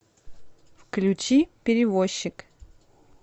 включи перевозчик